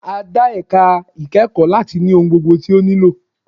A dá ẹ̀ka ìkẹ́kọ̀ọ́ láti ní ohun gbogbo tí ó nílò.